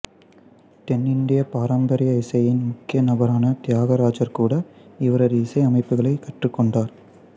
தென்னிந்திய பாரம்பரிய இசையின் முக்கிய நபரான தியாகராஜர் கூட இவரது இசை அமைப்புகளைக் கற்றுக்கொண்டார்